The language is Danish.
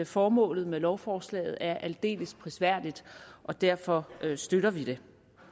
formålet med lovforslaget er aldeles prisværdigt og derfor støtter vi det